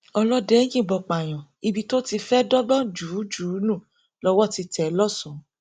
ọlọdẹ yìnbọn pààyàn ibi tó ti fẹẹ dọgbọn jù ú jù ú nù lọwọ ti tẹ ẹ lọsọn